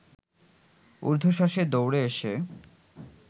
উর্ধ্বশাসে দৌড়ে এসে